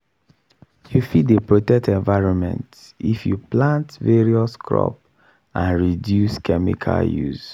you fit dey protect environment if you plant various crop and reduce chemical use.